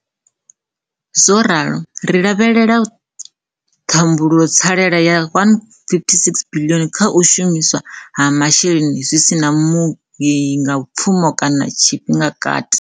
Zwo ralo, ri lavhelela ṱhumbulotsalela ya R156 biḽioni kha u shumiswa ha masheleni kha zwi si na mui ngapfuma kha tshifhingakati.